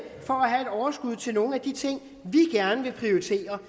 overskud til nogle af de ting vi gerne vil prioritere